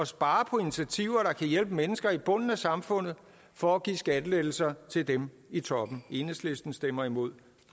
spare på initiativer der kan hjælpe mennesker i bunden af samfundet for at give skattelettelser til dem i toppen enhedslisten stemmer imod